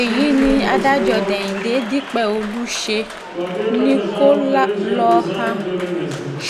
èyí ni adájọ́ déhìndé dípẹ́ọ̀lù ṣe ni kó lọá